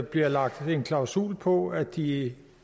bliver lagt en klausul på at de